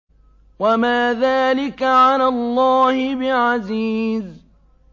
وَمَا ذَٰلِكَ عَلَى اللَّهِ بِعَزِيزٍ